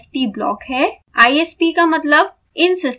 isp का मतलब insystem programming है